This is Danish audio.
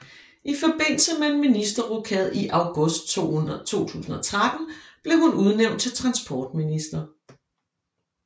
I forbindelse med en ministerrokade i august 2013 blev hun udnævnt til transportminister